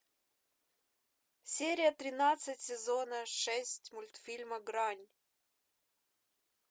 серия тринадцать сезона шесть мультфильма грань